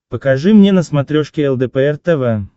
покажи мне на смотрешке лдпр тв